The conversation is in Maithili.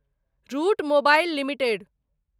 route Mobile limited